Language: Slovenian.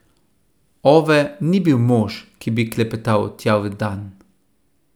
Ove ni bil mož, ki bi klepetal tjavendan.